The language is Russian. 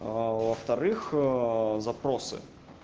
во-вторых запросы